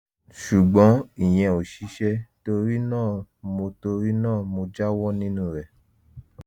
ṣùgbọ́n ìyẹn ò ṣiṣẹ́ torí náà mo torí náà mo jáwọ́ nínú rẹ̀